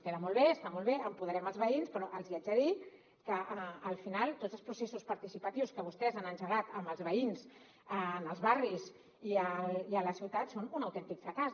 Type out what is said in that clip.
queda molt bé està molt bé empoderem els veïns però els hi haig de dir que al final tots els processos participatius que vostès han engegat amb els veïns en els barris i a la ciutat són un autèntic fracàs